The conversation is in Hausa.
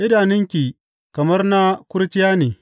Idanunki kamar na kurciya ne.